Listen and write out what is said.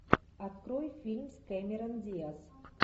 открой фильм с кэмерон диаз